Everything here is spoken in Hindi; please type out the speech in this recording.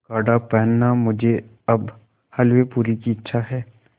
गाढ़ा पहनना मुझे अब हल्वेपूरी की इच्छा है